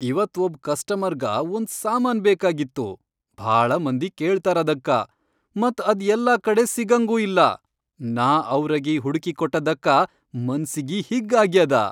ಇವತ್ ಒಬ್ ಕಸ್ಟಮರ್ಗ ಒಂದ್ ಸಾಮಾನ್ ಬೇಕಾಗಿತ್ತು ಭಾಳ ಮಂದಿ ಕೇಳ್ತಾರದಕ್ಕ ಮತ್ ಅದ್ ಯಲ್ಲಾಕಡೆ ಸಿಗಂಗೂ ಇಲ್ಲ, ನಾ ಅವ್ರಗಿ ಹುಡಕಿಕೊಟ್ಟಿದ್ದಕ್ಕ ಮನ್ಸಿಗಿ ಹಿಗ್ಗ್ ಆಗ್ಯಾದ.